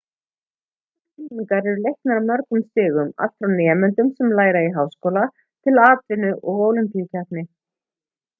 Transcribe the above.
nútímaskylmingar eru leiknar á mörgum stigum allt frá nemendum sem læra í háskóla til atvinnu og ólympíukeppni